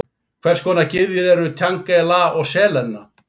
Hvers konar gyðjur eru Tjange, Lah og Selena?